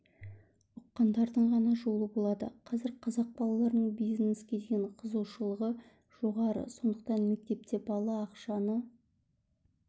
ұққандардың ғана жолы болады қазір қазақ балаларының бизнеске деген қызығушылығы жоғары сондықтан мектепте бала ақшаны